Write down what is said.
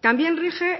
también rige